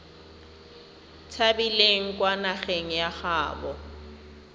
tshabileng kwa nageng ya gaabo